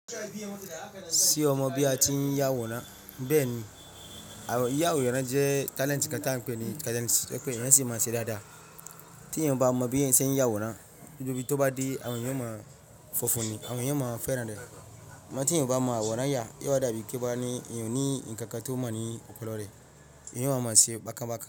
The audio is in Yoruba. Se o mo bi a tin yaworan? Bẹ ni, yiya aworan jẹ talent kan ta n peni,, talent to ẹ pe èèyàn si maa se dada. Ti eeyan ba mo bi eeyan sen yaworan, gbogbo bi to ba de awon eeyan o ma fofun ni, awon eeyan o ma feran re. Sugbon ti eeyan o ba mo aworan ya, yio wa da bi pe eeyan o ni nkankan tio mon ni opolore. Eeyan o wa maa se bakan bakan.